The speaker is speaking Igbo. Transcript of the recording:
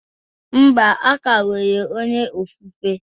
Mba, a ka nwere onye ofufe